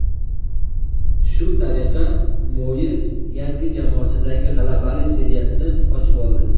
Shu tariqa Moyes yangi jamoasidagi g‘alabali seriyasini ochib oldi.